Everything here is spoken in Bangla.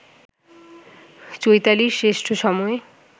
চৈতালির শ্রেষ্ঠ সময়